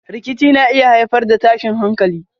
Rikici na iya haifar da tashin hankalin.